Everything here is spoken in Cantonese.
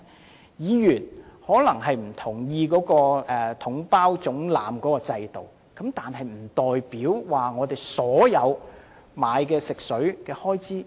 儘管議員可能不同意"統包總額"的制度，但不代表有理由削減所有購買食水的開支。